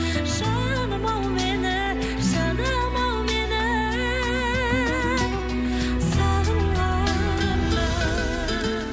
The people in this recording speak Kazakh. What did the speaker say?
жаным ау мені жаным ау мені сағынғанда